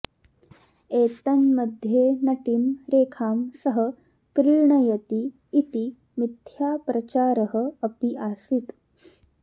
एतन्मध्ये नटीं रेखां सः प्रीणयति इति मिथ्या प्रचारः अपि आसीत्